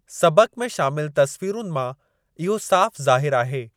सबक़ में शामिल तस्वीरुनि मां इहो साफ़ु ज़ाहिरु आहे।